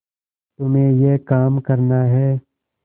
तुम्हें यह काम करना है